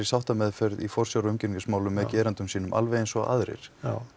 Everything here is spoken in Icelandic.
sáttameðferð í forsjár og umgengnismálum með gerendum sínum alveg eins og aðrir